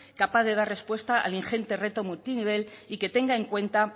capaz de dar respuesta al ingente reto multinivel y que tenga en cuenta